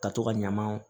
Ka to ka ɲaman